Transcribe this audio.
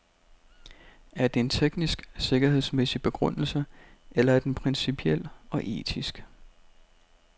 Er det en teknisk, sikkerhedsmæssig begrundelse, eller er den principiel og etisk.